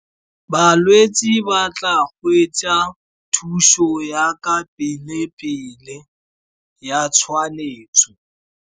Balwetse ba tla gwetsa thuso yaka pele-pele ya .